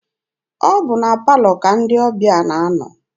Ọ bụ na palọ ka ndị ọbịa na-anọ.